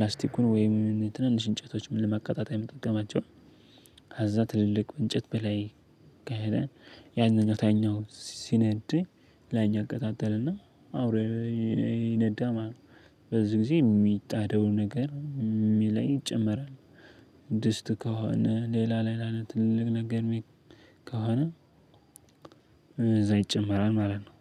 ላስቲኩን ወይም ትንንሽ እንጨቶችን ለማቀጣጠያ ምንጠቀማቸውን ከዛ ትልልቁ እንጨት በላይ ከሄደ ያንን ታችኛው ሲነድ ላይኛው እቀጣጠርና አብሮ ይነዳል ማለት ነው። በዚህ ጊዜ የሚጣደው ነገር የሚለይ ይጨመራል። ድስት ከሆነ ሌላ ሌላ ትልቅ ነገር ከሆነ እዛ ይጨመራል ማለት ነው